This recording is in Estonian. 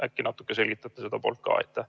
Äkki natukene selgitate seda poolt ka.